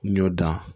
N'i y'o dan